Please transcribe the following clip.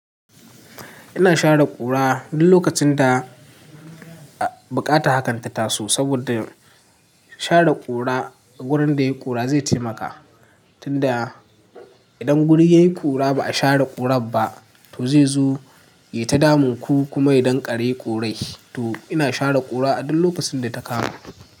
Ina share kura duk lokacin da bukata hakanta taso saboda share kura a wurin da yayi kura zai taimaka tunda idan guri yayi kura ba a share kurar ba to zai zo ya ta damu ku kuma idan kare korai to ina share kura a duk lokacin da ta karu.